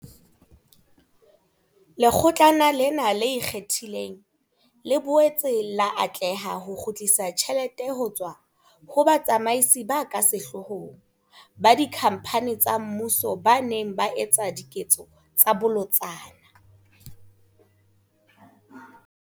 Lekgotlana lena le Ikgethileng, le boetse la atleha ho kgutlisa tjhelete ho tswa ho batsamaisi ba ka sehloohong ba dikhamphane tsa mmuso ba neng ba etsa diketso tsa bolotsana.